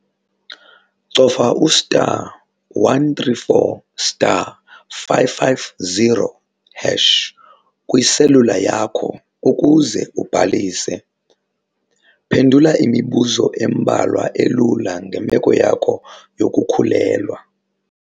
Cofa u-*134*550# kwiselula yakho ukuze ubhalise. Phendula imibuzo embalwa elula ngemeko yakho yokukhulelwa.